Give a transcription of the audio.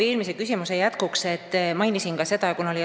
Eelmise küsimuse jätkuks, et ma mainisin ka väikesemahulisi töid.